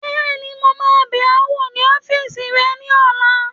Bẹ́ẹ̀ni, mo máa bẹ̀ ọ wò ní ọ́fìsì rẹ ní ọ̀la